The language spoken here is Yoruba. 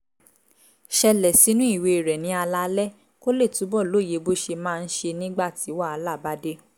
ṣẹlẹ̀ sínú ìwé rẹ̀ ní alaalẹ́ kó lè túbọ̀ lóye bó ṣe máa ń ṣe nígbà tí wàhálà bá dé